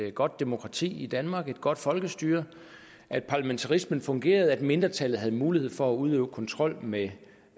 et godt demokrati i danmark et godt folkestyre at parlamentarismen fungerede at mindretallet havde mulighed for at udøve kontrol med